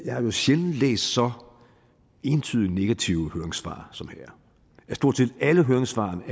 jeg jo sjældent læst så entydig negative høringssvar som her stort set alle høringssvarene